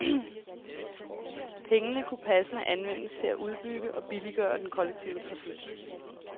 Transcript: Pengene kunne passende anvendes til at udbygge og billiggøre den kollektive trafik.